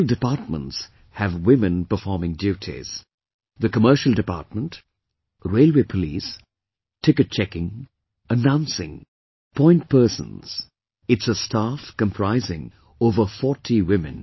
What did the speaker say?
All departments have women performing duties... the commercial department, Railway Police, Ticket checking, Announcing, Point persons, it's a staff comprising over 40 women